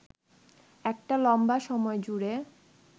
একটা লম্বা সময় জুড়ে